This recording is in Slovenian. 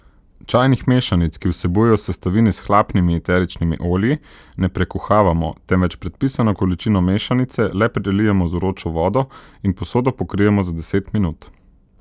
Čajnih mešanic, ki vsebujejo sestavine s hlapnimi eteričnimi olji, ne prekuhavamo, temveč predpisano količino mešanice le prelijemo z vročo vodo in posodo pokrijemo za deset minut.